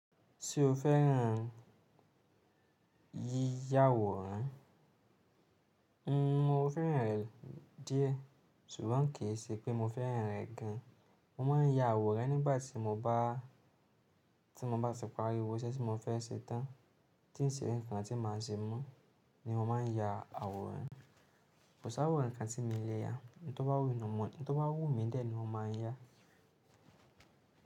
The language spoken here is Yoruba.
Tí o fẹ́ràn yíyáwòrán, n mo fẹ́ràn rẹ̀ díẹ̀. Ṣùgbọ́n kìí ṣẹ́ pé mo fẹ́ràn rẹ̀ gan. Mo ma ń ya àwòrán nígbàtí mo bá ti parí gbogbo ṣẹ́ tí mo fẹ́ ṣe tán. Tí n sì rí nǹkan tí ma ṣe mọ́ ni mo ma ń ya àwòrán. Kò sá àwòrán kan tí mi ń lè ya. N tó bá wù mí dẹ̀ ni mo ma ń ya.